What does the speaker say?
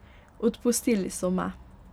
Odpustili so me.